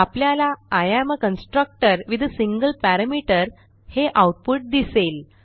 आपल्याला I am a constructor with a single parameter हे output दिसेल